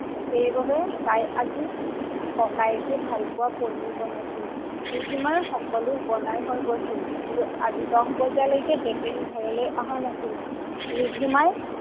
সেইবাবে তাই আজি ককায়েকে ভাল পোৱা পনিৰ বনাইছিল। ৰিধিমাৰ সকলো বনাই হৈ গৈছিল কিন্তু আজি দহ বজালৈকে জতিন ঘৰলৈ অহা নাছিল।